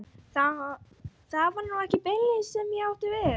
Það var nú ekki beinlínis það sem ég átti við.